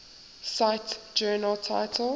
cite journal title